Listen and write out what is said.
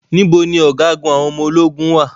Níbo ni Ọ̀gágun àwọn ọmọ ológun wà?